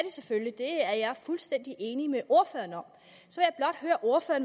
selvfølgelig det er jeg fuldstændig enig med ordføreren om